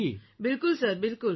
બિલકુલ સર બિલકુલ